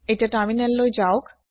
এতিয়া তাৰমিনেলত যাওক